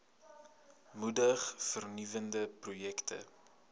moedig vernuwende projekte